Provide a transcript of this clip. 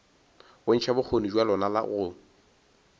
bontšha bokgoni bja lona go